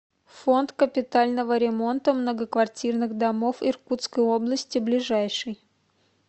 фонд капитального ремонта многоквартирных домов иркутской области ближайший